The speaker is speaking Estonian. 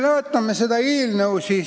Vaatame seda eelnõu.